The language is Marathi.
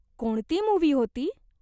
कोणती मूव्ही होती ?